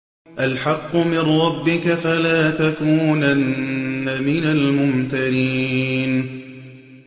الْحَقُّ مِن رَّبِّكَ ۖ فَلَا تَكُونَنَّ مِنَ الْمُمْتَرِينَ